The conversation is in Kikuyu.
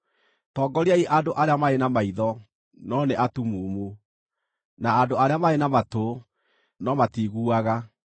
Tongoriai andũ arĩa marĩ na maitho, no nĩ atumumu, na andũ arĩa marĩ na matũ, no matiiguaga.